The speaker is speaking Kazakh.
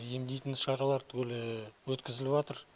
емдейтін шаралар түгелі өткізіліватыр